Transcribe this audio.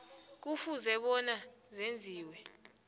kufuze bona zenziwe